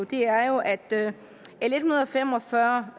det er jo at l en hundrede og fem og fyrre